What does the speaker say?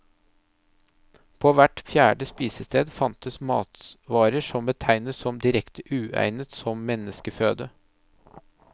På hvert fjerde spisested fantes matvarer som betegnes som direkte uegnet som menneskeføde.